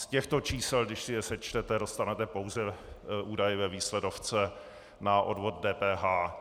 Z těchto čísel , když si je sečtete, dostanete pouze údaje ve výsledovce na odvod DPH.